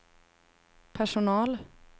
personal